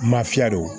Mafiya don